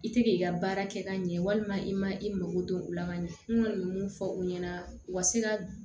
I tɛ k'i ka baara kɛ ka ɲɛ walima i ma i mako dɔn u la ka ɲɛ n kɔni bɛ mun fɔ u ɲɛna u ka se ka